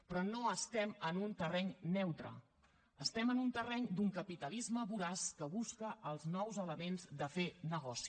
però no estem en un terreny neutre estem en un terreny d’un capitalisme voraç que busca els nous elements de fer negoci